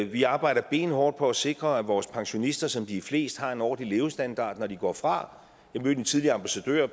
vi arbejder benhårdt på at sikre at vores pensionister som de er flest har en ordentlig levestandard når de går fra jeg mødte en tidligere ambassadør